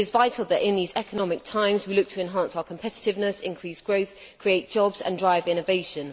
It is vital that in these difficult economic times, we look to enhance our competitiveness, increase growth, create jobs and drive innovation.